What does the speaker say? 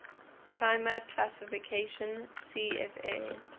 climate classification cfa